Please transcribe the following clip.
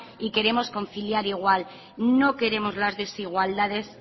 y queremos conciliar igual no queremos las desigualdades